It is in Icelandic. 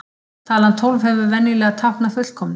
Talan tólf hefur venjulega táknað fullkomnum.